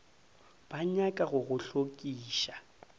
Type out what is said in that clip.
ba nyaka go go hlokiša